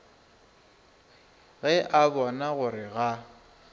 ge a bona gore ga